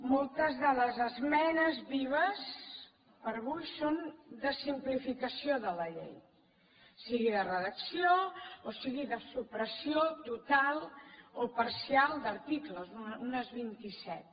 moltes de les esmenes vives per avui són de simplificació de la llei siguin de redacció o siguin de supressió total o parcial d’articles unes vint i set